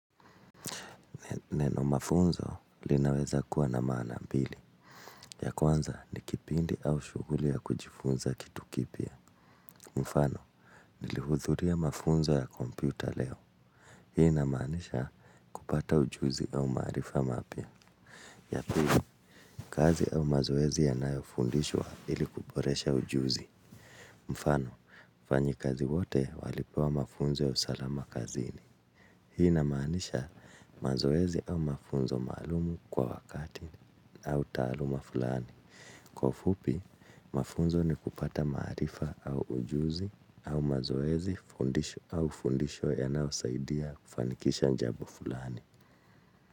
Neno mafunzo linaweza kuwa na maana mbili. Ya kwanza ni kipindi au shughuli ya kujifunza kitu kipya. Mfano, nilihudhuria mafunzo ya kompyuta leo. Hii ina maanisha kupata ujuzi au maarifa mapia. Ya pili, kazi au mazoezi ya nayofundishwa ili kuboresha ujuzi. Mfano, fanyi kazi wote walipewa mafunzo ya usalama kazini. Hii ina maanisha mazoezi au mafunzo maalumu kwa wakati. Au taaluma fulani. Kwa ufupi, mafunzo ni kupata maarifa au ujuzi au mazoezi au fundisho ya nao saidia kufanikisha njabo fulani.